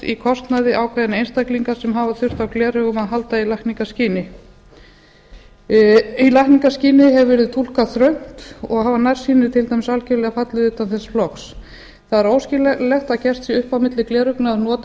í kostnaði ákveðinna einstaklinga sem hafa þurft á gleraugum að halda í lækningaskyni í lækningaskyni hefur verið túlkað þröngt og hafa nærsýnir til dæmis algjörlega fallið utan þess flokks það er óskiljanlegt að gert sé upp á milli